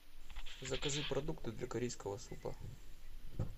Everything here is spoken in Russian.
закажи продукты для корейского супа